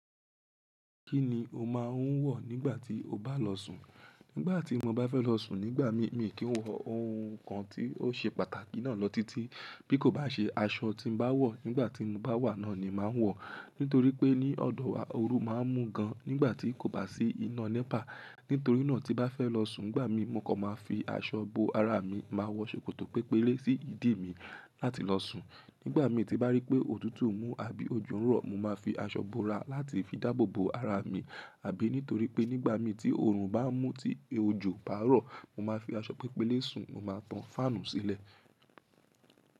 Kí ni o máa ń wọ̀ nígbà tí o bá lọ sùn? Nígbà tí mo bá fẹ́ lọ sùn nígbà mi, mi kì í wọ oun kan tí ó ṣe pàtàkì náà lọ títí. Bí kò bá ṣe aṣọ tí mo bá wọ̀ nígbà tí mo bá wà náà ni màá wọ̀. Nítorí pé ní ọ̀dọ̀ wa oru máa ń mú gan nígbà tí kò bá sí iná Nepa. Nítorí náà tí bá fẹ́ lọ sùn nígbà mi, mo kọ máa fi aṣọ bo ara mi, màá wọ ṣòkòtò pẹ́pẹ́lé sí ìdí mi láti lọ sùn. Nígbà mi tí bá rí pé òtútù ń mú àbí ojú ń rọ̀, mo máa fi aṣọ bo ara láti fi dáàbò bo ara mi. Àbí nítorí pé nígbà mi tí oorun bá ń mú tí ejo bá rọ̀, mo máa fi aṣọ pẹ́pẹ́lé sùn, mo máa tan fáànù sílẹ̀.